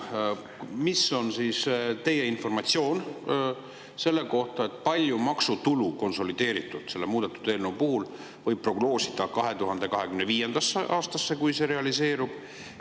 Mis on teie informatsioon selle kohta, kui palju maksutulu konsolideeritult selle muudetud eelnõu kohaselt võib prognoosida 2025. aastal, kui see realiseerub?